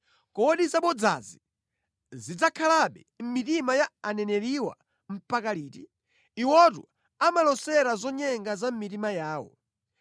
Kodi zabodzazi zidzakhalabe mʼmitima ya aneneriwa mpaka liti? Iwotu amalosera zonyenga za mʼmitima yawo.